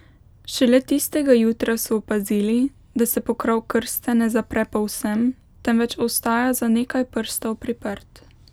Šele tistega jutra so opazili, da se pokrov krste ne zapre povsem, temveč ostaja za nekaj prstov priprt.